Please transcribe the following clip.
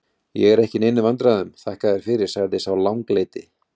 Ég er ekki í neinum vandræðum, þakka þér fyrir, sagði sá langleiti.